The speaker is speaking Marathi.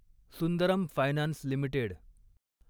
Sundaram finance limited